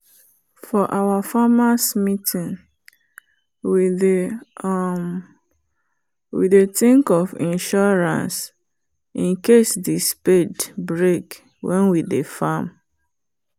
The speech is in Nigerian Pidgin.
for our farmers meeting we dey um think of insurance incase the spade break when we dey farm.